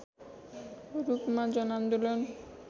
रूपमा जनआन्दोलन